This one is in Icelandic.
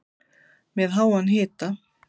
Með háan hita